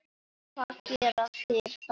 Og hvað gera þeir þá?